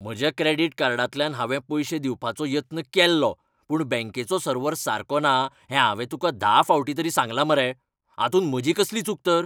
म्हज्या क्रॅडिट कार्डांतल्यान हांवें पयशें दिवपाचो यत्न केल्लो पूण बँकेचो सर्वर सारको ना हें हांवें तुका धा फावटीं तरी सांगलां मरे. हातूंत म्हजी कसली चूक तर?